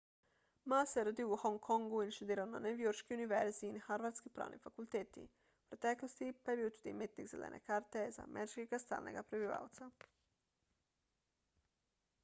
ma se je rodil v hongkongu in študiral na newyorški univerzi in harvardski pravni fakulteti v preteklosti pa je bil tudi imetnik zelene karte za ameriškega stalnega prebivalca